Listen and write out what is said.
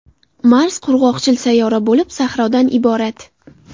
Mars qurg‘oqchil sayyora bo‘lib, sahrodan iborat.